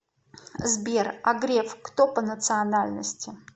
сбер а греф кто по национальности